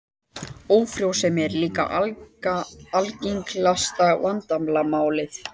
Ófrjósemi er líka algengt vandamál.